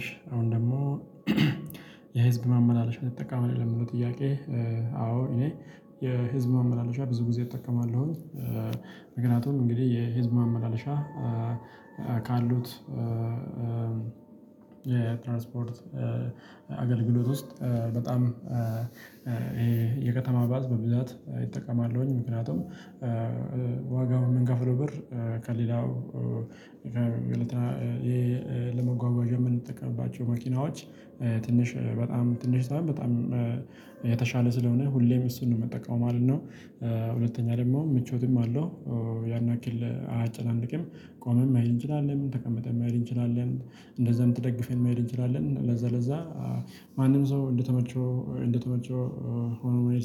እሽ አሁን ደግሞ የህዝብ መመላለሻ ትጠቀማህ ለሚለው ጥያቄ? አዎ እኔ የህዝብ መመላለሻ ብዙ ጊዜ እጠቀማለሁኝ። ምክኒያቱም እንግዲህ የህዝብ ማመላለሻ ካሉት የትራንስፖርት አገልግሎት ውስጥ በጣም ይሄ የከተማ ባስ በብዛት እጠቀማለሁኝ ምክንያቱም ዋጋውን የምንከፍለው ብር ከሌላው ሁኔታ የለመጓጓዣ የምንጠቀምባቸው መኪናዎች ትንሽ በጣም ትንሽ በጣም የተሻለ ስለሆነ ሁሌም እሱን ነው መጠቀም ማለት ነው። ሁለተኛ ደግሞ ምቾትም አለው። ያን ያክል አያጨናንቅም ቆመን መሄድ እንችላለን ተቀመጠን መሄድ እንችላለን እንደዛም ተደግፈን መሄድ እንችላለን ለዛ ለዛ ማንም ሰው እንደተመቸው እንደተመቸው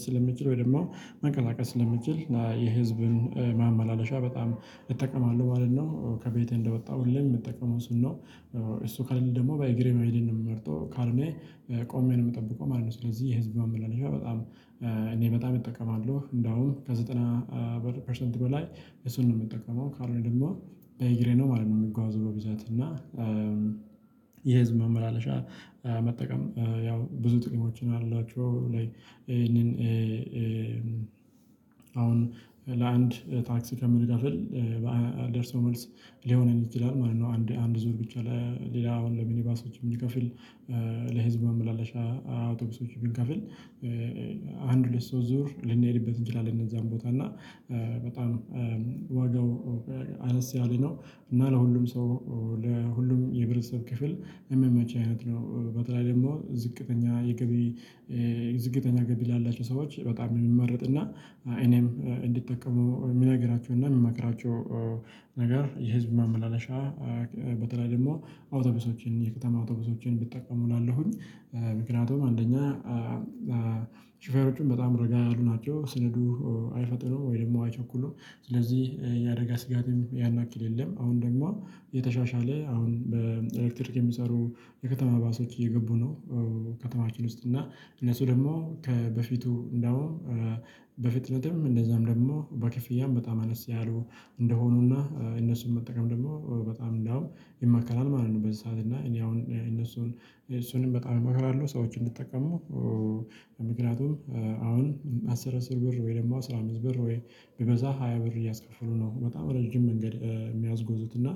ስለሚችል ወይ ደግሞ መንቀሳቀስ ስለሚችል እና የህዝብን ማመላለሻ በጣም እጠቀማለሁ ማለት ነው ከቤቴ እንደወጣሁ ሁሌም የምጠቀመው እሱን ነው። እሱ ከሌለ ደግሞ በእግሬ መሄድን ነው የምመርጠው ካርኔ ቆሜ የምጠብቀው ማለት ነው። ስለዚህ የህዝብ መመለሻ በጣም እኔ በጣም እጠቀማለሁ እንደውም ከዘጠና በመቶ ፐርሰንት በላይ እሱን ነው የምጠቀመው ካልሆነ ደግሞ በኢግሬ ነው ማለት ነው። የሚጓዝበው ብዛት እና የህዝብ ማመላለሻ መጠቀም ያው ብዙ ጥቅሞችን አሏቸው ላይ ይሄንን አሁን ለአንድ ታክሲ ከምንከፍል ደርሶ መልስ ሊሆነን ይችላል ማለት ነው። አንድ አንድ ዙር ብቻ ሌላ አሁን ለሚኒባሶች የምንከፍል ለህዝብ መመላለሻ አውቶቡሶች ብንከፍል አንድ ሁለት ሶስት ዙር ልንሄድበት እንችላለን እነዛን ቦታ እና በጣም ዋጋው አነስ ያለነው እና ለሁሉም ሰው ለሁሉም የብረተሰብ ክፍል የሚያመች አይነት ነው። በተለይ ደግሞ ዝቅተኛ የገቢ ዝቅተኛ ገቢ ላላቸው ሰዎች በጣም የሚመረጥ እና እኔም እንዲጠቀሙ የሚነግራቸው እና የሚመክራቸው ነገር የህዝብ ማመላለሻ በተለይ ደግሞ አውቶብሶችን የከተማ አውቶብሶችን ቢጠቀሙ እላለሁኝ። ምክንያቱም አንደኛ ሾፌሮቹን በጣም ረጋ ያሉ ናቸው ስነዱ አይፈጥኑም ወይ ደግሞ አይቸኩሉም። ስለዚህ ያደጋ ስጋትም ያናክል የለም። አሁን ደግሞ የተሻሻለ አሁን በኤሌክትሪክ የሚሰሩ የከተማ ባሶች እየገቡ ነው ከተማችን ውስጥ እና እነሱ ደግሞ ከበፊቱ እንደውም በፍጥነትም እንደዛም ደግሞ በክፍያም በጣም አነስተኛ እንደሆኑና እነሱን መጠቀም ደግሞ በጣም እንዳውም ይመከራል ማለት ነው። በዚህ ሰዓት እና እኔ አሁን እነሱን እሱንም በጣም እመክራለሁ ሰዎችን እንዲጠቀሙ። ምክንያቱም አስር አስር ብር ወይ ደግሞ አስራ አምስት ብር ወይ ቢበዛ ሃያ ብር እያስከፈሉ ነው በጣም ረጅም መንገድ የሚያስጎዙት እና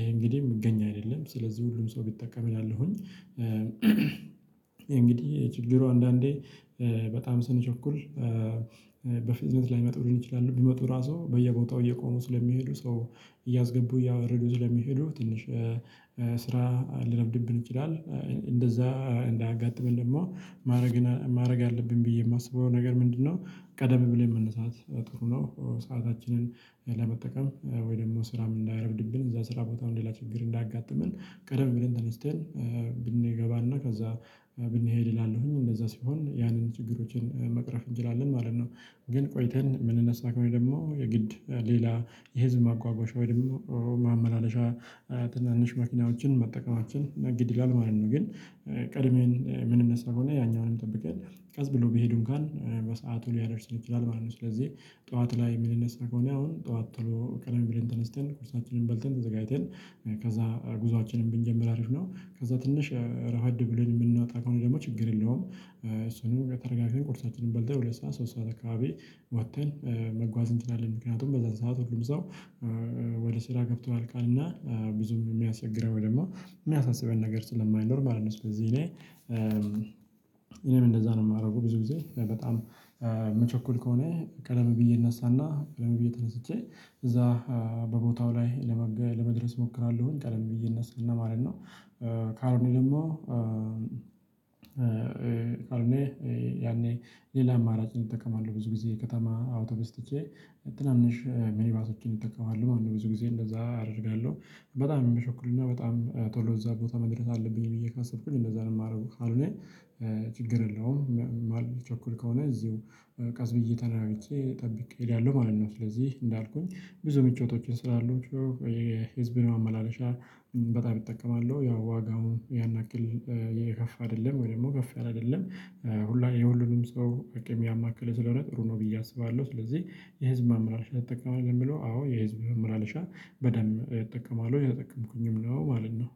እሄ እንግዲህ የምገኝ አይደለም ስለዚህ ሁሉም ሰው ቢጠቀም እላለሁኝ። እንግዲህ ችግሩ አንዳንዴ በጣም ስንቸኩል በፍጥነት ላይመጡ ሊሆን ይችላሉ ቢመጡ ራሱ በየቦታው እየቆሙ ስለሚሄዱ ሰው እያስገቡ እያወረዱ ስለሚሄዱ ትንሽ ስራ ሊረፍብድብን ይችላል እንደዛ እንዳያጋጥመን ደግሞ ማድረግ ማድረግ አለብኝ ብዬ የማስበው ነገር ምንድነው? ቀደም ብለን መነሳት ጥሩ ነው ሰአታችንን ለመጠቀም ወይ ደግሞ ስራም እንዳይረፍድብን እዛ ስራ ቦታው ሌላ ችግር እንዳያጋጥመን ቀደም ብለን ተነስተን ብንገባና ከዛ ብንሄድ እላለሁኝ እንደዛ ሲሆን ያንን ችግሮችን መቅረፍ እንችላለን ማለት ነው። ግን ቆይተን የምንነሳ ከሆነ ደግሞ የግድ ሌላ የህዝብ ማጓጓሻ ወይ ደግሞ ማመላለሻ ትናንሽ መኪናዎችን መጠቀማችን ግድ ይላል ማለት ነው። ግን ቀድሜን የምንነሳ ከሆነ ያኛውንም ጠብቀን ቀስ ብሎ ቢሄዱ እንኳን በሰአቱ ሊያደርሱን ይችላል ማለት ነው። ስለዚህ ጠዋት ላይ ምንነሳ ከሆነ አሁን ጠዋት ቶሎ ቀደም ብለን ተነስተን ቁርሳችንን በልተን ተዘጋጅተን ከዛ ጉዞአችንን ብንጀምር አሪፍ ነው። ከዛ ትንሽ ረፈድ ብለን የምናጣ ከሆነ ደግሞ ችግር የለውም እሱንም ተረጋግተን ቁርሳችንን በልተን ሁለት ሰዓት ሶስት ሰዓት አካባቢ ወጥተን መጓዝ እንትን አለን ምክንያቱም በዛን ሰዓት ሁሉም ሰው ወደ ስራ ገብቷል ያልቃል እና ብዙም የሚያስቸግረው ደግሞ የሚያሳስበው ነገር ስለማይኖር ማለት ነው። ስለዚህ እኔ እኔም እንደዛ ነው የማደርገው ብዙ ጊዜ በጣም ምቸኮል ከሆነ ቀደም ብዬ እነሳና ቀደም ብዬ ተነስቼ እዛ በቦታው ላይ ለመገ ለመድረስ እሞክራለሁኝ ቀደም ብዬ እነሳና ማለት ነው። ካልሆነ ደግሞ ካልሆነ ያኔ ሌላ አማራጭን እጠቀማለሁ ብዙ ጊዜ ከተማ አውቶቢስ ትቼ ትናንሽ ሚኒባሶችን እጠቀማለሁ ማለት ነው። ብዙ ጊዜ እንደዛ አደርጋለሁ። በጣም የሚሸኩልና በጣም ቶሎ እዛ ቦታ መድረስ አለብኝ ብዬ ካሰብኩኝ እንደዛ ነው የማረገው ካልሆነ ችግር የለውም የማልቸኩል ከሆነ እዚሁ ቀስብዬ ተረጋግቼ ጠብቄ እሄዳለሁ ማለት ነው። ስለዚህ እንዳልኩኝ ብዙ ምቾቶችን ስላሉ ህዝብን ማመላለሻ በጣም እጠቀማለው ያው ዋጋውን ያን ያክል የከፋ አይደለም ወይ ደግሞ ከፍ ያለ አይደለም ሁሉንም የሁሉንም ሰው አቅም ያማከለ ስለሆነ ጥሩ ነው። ብዬ አስባለሁ። ስለዚህ የህዝብ ማመላለሻ ትጠቀማለህ ለሚለው አዎ የህዝብ ማመላለሻ በደንብ እጠቀማለሁ የጠቀምኩኝም ነው ማለት ነው